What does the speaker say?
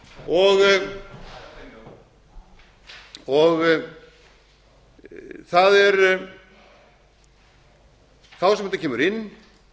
og fjögur og það er þá sem þetta kemur inn